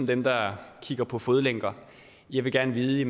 dem der kigger på fodlænker jeg vil gerne vide